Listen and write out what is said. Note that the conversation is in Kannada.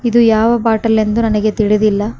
ಇದು ಯಾವ ಬಾಟಲ್ ಎಂದು ನನಗೆ ತಿಳಿದಿಲ್ಲ.